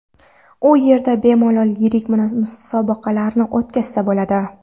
U yerda bemalol yirik musobaqalarni o‘tkazsa bo‘ladi.